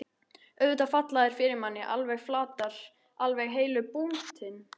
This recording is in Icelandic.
Auðvitað falla þær fyrir manni. alveg flatar. alveg heilu búntin!